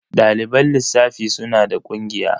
Ɗaliban lissafi suna da ƙungiya?